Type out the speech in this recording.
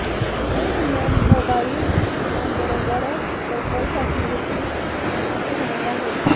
हे नियम मोबाइल फोनबरोबरच डोंगलसाठी देखील लागू होणार आहेत